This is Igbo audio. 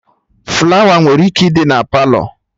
Flawa nwere ike ịdị na Palọ